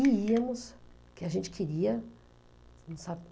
E íamos, que a gente queria, não